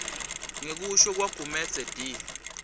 ngekusho kwagumedze d